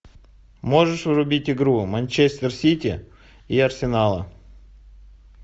можешь врубить игру манчестер сити и арсенала